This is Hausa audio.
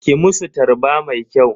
Ki musu tarba mai kyau.